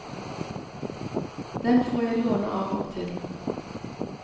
Den får jeg låne av og til.